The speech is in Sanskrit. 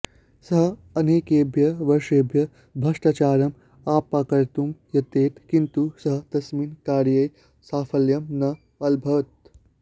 सः अनेकेभ्यः वर्षेभ्यः भ्रष्टाचारम् अपाकर्तुं यतते किन्तु सः तस्मिन् कार्ये साफल्यं न अलभत्